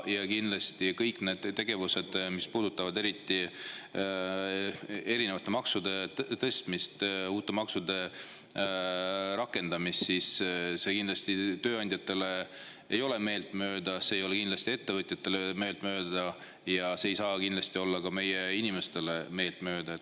Eriti kõik need tegevused, mis puudutavad maksude tõstmist ja uute maksude rakendamist, ei ole tööandjatele meeltmööda, see ei ole kindlasti ettevõtjatele meeltmööda ja see ei saa kindlasti olla ka meie inimestele meeltmööda.